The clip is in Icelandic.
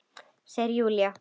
Segir Júlía.